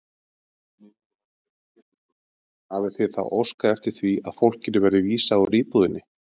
Lillý Valgerður Pétursdóttir: Hafið þið þá óskað eftir því að fólkinu verði vísað úr íbúðinni?